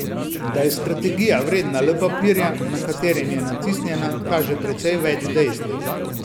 Da je strategija vredna le papirja, na katerem je natisnjena, kaže precej več dejstev.